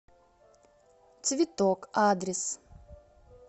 цветок адрес